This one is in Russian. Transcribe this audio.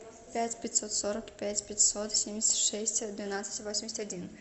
пять пятьсот сорок пять пятьсот семьдесят шесть двенадцать восемьдесят один